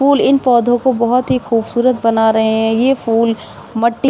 फूल इन पौधों को बहुत ही खूबसूरत बना रहे हैं ये फूल मट्टी --